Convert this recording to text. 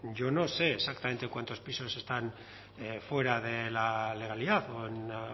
yo no sé exactamente cuántos pisos están fuera de la legalidad o en la